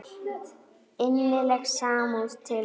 Innileg samúð til ykkar.